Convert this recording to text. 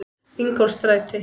Ingólfsstræti